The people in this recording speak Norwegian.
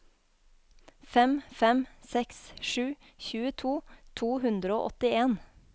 fem fem seks sju tjueto to hundre og åttien